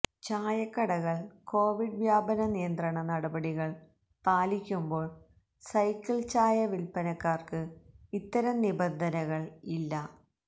ചായക്കടകൾ Covid വ്യാപന നിയന്ത്രണ നടപടികൾ പാലിക്കുമ്പോൾ സൈക്കിൾ ചായ വിൽപ്പനക്കാർക്ക് ഇത്തരം നിബന്ധനകൾ ഇല്ല